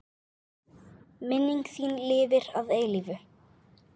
Minning þín lifir að eilífu.